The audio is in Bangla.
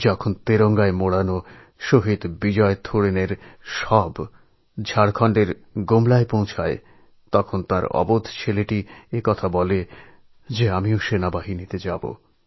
যখন জাতীয় পতাকায় ঢাকা শহিদ বিজয় সোরেনের মৃতদেহ ঝাড়খণ্ডের গুমলায় পৌঁছায় সেই সময় তাঁর ছোট ছেলে বলে ওঠে যে সেও সেনাবাহিনিতে যোগ দেবে